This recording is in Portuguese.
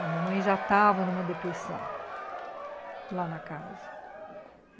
A mamãe já tava numa depressão lá na casa.